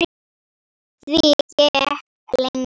Því gekk lengi.